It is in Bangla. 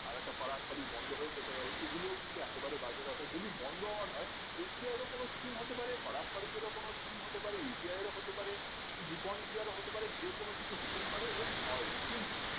আরেকটা পারাক পারিক বন্ধ হয়ে যেতে পারে এগুলো কিন্তু একেবারেই বাজে কথা যদি বন্ধ হওয়ার হয় S B I এর কোনো skim হতে পারে পারাক পারিক এরও কোনো skim হতে পারে U T I এরও হতে পারে বিপন india র ও হতে পারে যে কোনো কিছু হতেই পারে এবং হয়ও